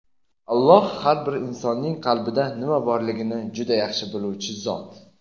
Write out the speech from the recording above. Alloh har bir insonning qalbida nima borligini juda yaxshi biluvchi Zot.